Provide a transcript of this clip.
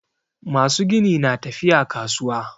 Masu gini na tafiya kasuwa